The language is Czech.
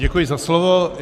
Děkuji za slovo.